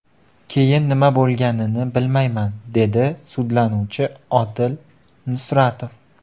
Keyin nima bo‘lganini bilmayman”, dedi sudlanuvchi Odil Nusratov.